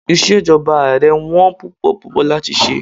Ìṣèjọba Ààrẹ wón púpọ̀ púpọ̀ láti ṣe.